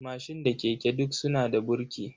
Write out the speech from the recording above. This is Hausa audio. Mashin da keke duk suna da burki.